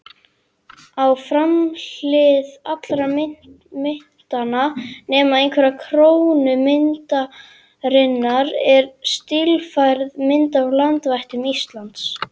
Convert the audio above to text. Á framhlið allra myntanna, nema einnar krónu myntarinnar, er stílfærð mynd af landvættum Íslands.